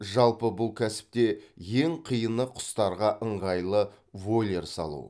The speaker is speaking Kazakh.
жалпы бұл кәсіпте ең қиыны құстарға ыңғайлы вольер салу